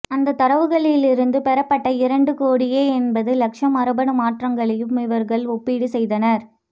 அந்த தரவுகளிலிருந்து பெறப்பட்ட இரண்டு கோடியே எண்பது லட்சம் மரபணு மாற்றங்களையும் இவர்கள் ஒப்பீடு செய்தனர்